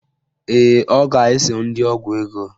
Ee, ọ ga-eso ndị ọgwụ ego